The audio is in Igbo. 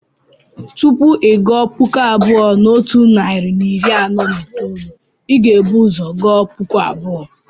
Tupu ị gụọ puku abụọ na otu narị na iri anọ na itoolu, ị ga-ebu ụzọ gụọ puku abụọ.